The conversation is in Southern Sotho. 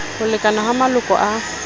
ho lekana ha maloko a